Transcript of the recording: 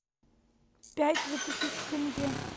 пять двадцати тенге